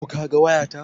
Ko ka ga waya ta?